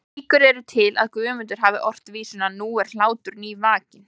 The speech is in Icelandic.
Líkur eru til að Guðmundur hafi ort vísuna Nú er hlátur nývakinn